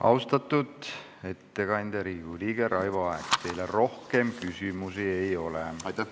Austatud ettekandja, Riigikogu liige Raivo Aeg, teile rohkem küsimusi ei ole.